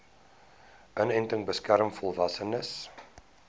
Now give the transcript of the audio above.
inenting beskerm volwassenes